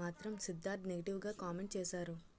మాత్రం సిద్ధార్థ్ నెగిటివ్గా కామెంట్ చేశారు